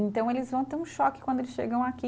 Então eles vão ter um choque quando eles chegam aqui.